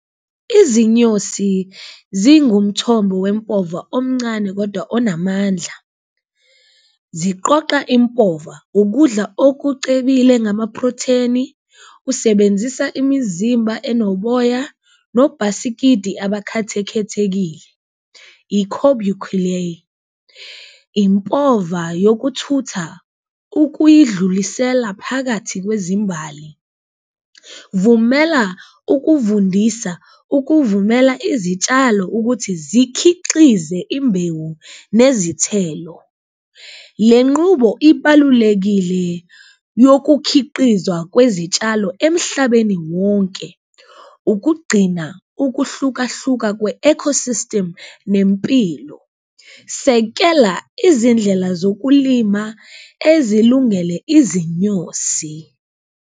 Izinyosi zingumthombo wempova omncane kodwa onamandla ziqoqa impova ukudla okucebile ngamaprotheni, usebenzisa imizimba enoboya nobhasikidi abakhathekhethekile, , impova yokuthutha ukulidlulisela phakathi kwezimbali. Vumela ukuvundisa ukuvumela izitshalo ukuthi zikhiqize imbewu nezithelo, le nqubo ibalulekile yokukhiqizwa kwezitshalo emhlabeni wonke ukugcina ukuhlukahluka kwe-ecosystem nempilo. Sekela izindlela zokulima ezilungele izinyosi.